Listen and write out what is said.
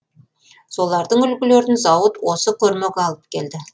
солардың үлгілерін зауыт осы көрмеге алып келді